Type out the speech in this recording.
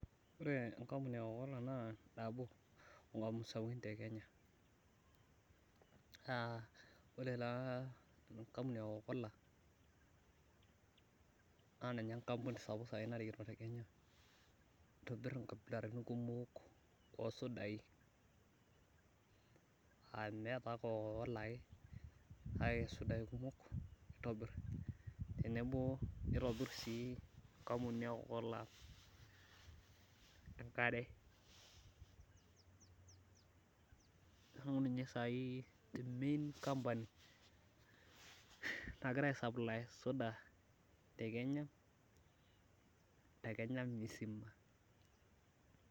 ore enkampuni e kokola te kenya naa ore taa enkampuni ekokola naa ninye enkampuni sapuk narikito, nitobir inkabilaritin kumok oo isudai, aa meetae kokola ake nitobir isudai kumok neeku ninye saai the main campany nagira aisaplie suda tekenya misima.